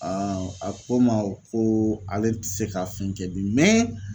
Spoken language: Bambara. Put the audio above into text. a ko ma ko ale ti se ka fɛn kɛ bi